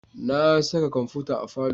Na sa kwamfuta a falo